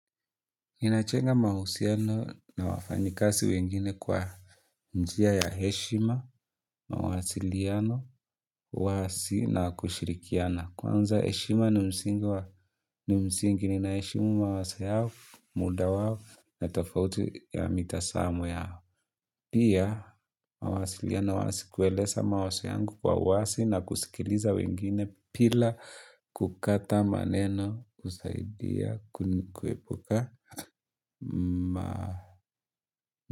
Inajenga mahusiano na wafanyikazi wengine kwa njia ya heshima, mawasiliano, uwazi na kushirikiana. Kwanza heshima ni msingi ninaheshimu mawazo yao, muda wao na tofauti ya mitazamo yao. Pia, mawasiliano wazi kueleza mawazo yangu kwa wazi na kusikiliza wengine bila kukata maneno kusaidia kuepuka. Ma.